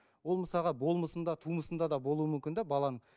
ол мысалға болмысында тумысында да болуы мүмкін де баланың